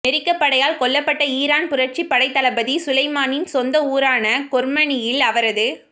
மெரிக்கப் படையால் கொல்லப்பட்ட ஈரான் புரட்சிப் படைத் தளபதி சுலைமானின் சொந்த ஊரான கொர்மனியில் அவரது